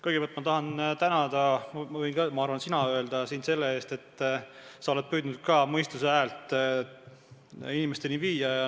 Kõigepealt ma tahan sind tänada – ma arvan, et võin sulle ka sina öelda – selle eest, et sa oled püüdnud mõistuse häält inimesteni viia.